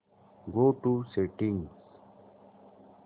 go to settings